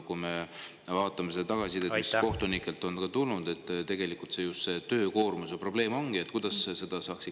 Kui me vaatame tagasisidet, mis kohtunikelt on tulnud, siis, et just töökoormuse probleem on.